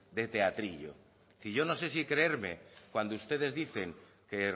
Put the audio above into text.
de teatrillo es decir yo no sé si creerme cuando ustedes dicen que